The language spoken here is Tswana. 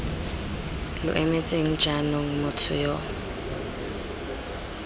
lo emetseng jaanong motho yo